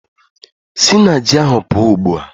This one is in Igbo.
Sị na ji ahụ pụọ ugbu a!